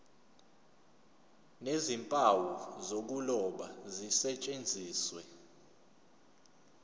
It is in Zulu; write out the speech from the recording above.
nezimpawu zokuloba zisetshenziswe